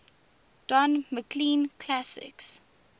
don mclean classics